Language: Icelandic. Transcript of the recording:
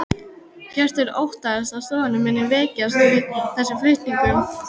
Hjörtur: Óttastu að stofnunin muni veikjast með þessum flutningum?